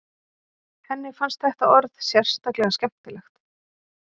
Henni fannst þetta orð sérstaklega skemmtilegt.